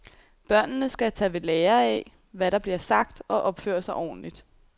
Børnene skal tage ved lære af, hvad der bliver sagt, og opføre sig ordentligt.